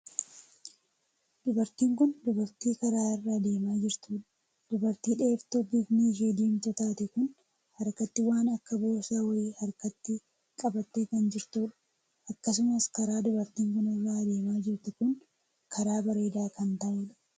Dubartiin kun dubartii karaa irra adeemaa jirtuudha. dubartii dheertuu bifni ishee diimtuu taate kun harkatti waan akka boorsaa wayii harkatti qabattee kan jirtuudha. Akkasumas karaa dubartiin kun irraa adeemaa jirtuu kun karaa bareedaa kan taheedha.